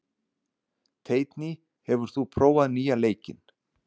Teitný, hefur þú prófað nýja leikinn?